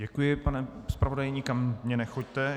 Děkuji, pane zpravodaji, nikam mi nechoďte.